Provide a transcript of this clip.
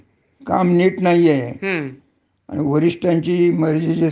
हो बरोबर आहे म्हणजे अकार्यक्षम म्हणजे काय त्यांना तेवड काम जरका नसन जमत तर ते ठेवत नाहीत. ह्या